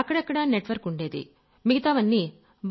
అక్కడక్కడా నెట్వర్క్ ఉండేది మిగతావన్నీ